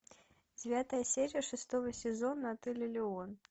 девятая серия шестого сезона отель элеон